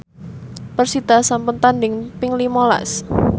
persita sampun tandhing ping lima las